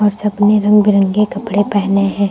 सबने रंग बिरंगे कपड़े पहने हैं।